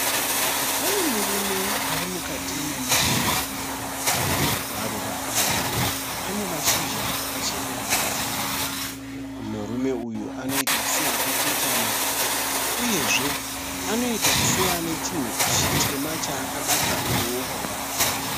Pane murume ari mukati memaruva. Maruva aya ane mashizha akacheneruka. Murume uyu anoita seakakotama uyezve anoita seane chinhu chitema chaakabata muruoko rwake.